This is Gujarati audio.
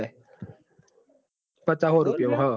પાચા હો રૂપીયા મો હ અ